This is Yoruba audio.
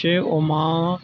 Ṣé o máa ń